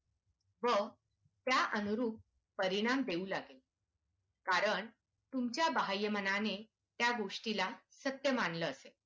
व त्यानुरूप परिणाम मिळू लागतील कारण तुमचा बाहय मानाने त्यागोष्टीला सत्य मानलं